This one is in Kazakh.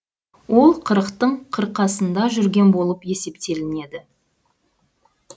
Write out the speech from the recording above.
ол қырықтың қырқасында жүрген болып есептелінеді